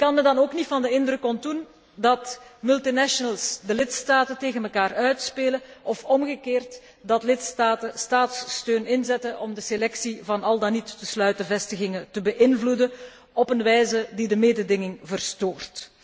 Ik kan me dan ook niet aan de indruk onttrekken dat multinationals de lidstaten tegen elkaar uitspelen of omgekeerd, dat lidstaten staatssteun inzetten om de selectie van al dan niet te sluiten vestigingen te beïnvloeden op een wijze die de mededinging verstoort.